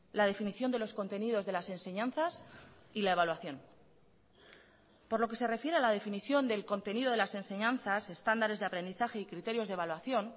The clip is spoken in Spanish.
la definición de los contenidos de las enseñanzas y la evaluación por lo que se refiere a la definición del contenido de las enseñanzas estándares de aprendizaje y criterios de evaluación